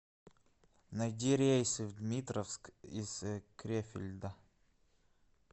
найди рейсы в дмитровск из крефельда